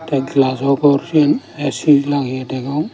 te glajaw gor sien A_C lageye degong.